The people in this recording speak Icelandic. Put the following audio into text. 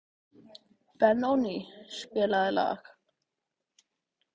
Benóný, spilaðu lag.